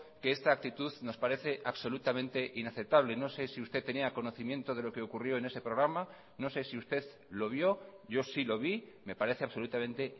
que esta actitud nos parece absolutamente inaceptable no sé si usted tenía conocimiento de lo que ocurrió en ese programa no sé si usted lo vio yo sí lo vi me parece absolutamente